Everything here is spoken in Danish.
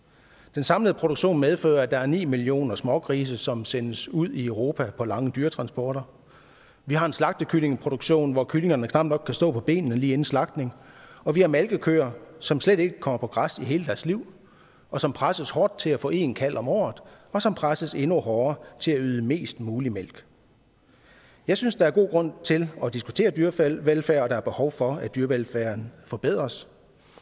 den samlede produktion medfører at der er ni millioner smågrise som sendes ud i europa på lange dyretransporter vi har en slagtekyllingeproduktion hvor kyllingerne knap nok kan stå på benene lige inden slagtning og vi har malkekøer som slet ikke kommer på græs i hele deres liv og som presses hårdt til at få en kalv om året og som presses endnu hårdere til at yde mest mulig mælk jeg synes der er god grund til at diskutere dyrevelfærd og der er behov for at dyrevelfærden forbedres